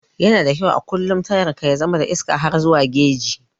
Yana da kyau a kullum tayan ka ya zama da iska har zuwa geji.